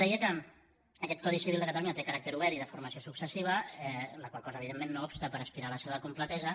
deia que aquest codi civil de catalunya té caràcter obert i de formació successiva la qual cosa evidentment no obsta per aspirar a la seva completesa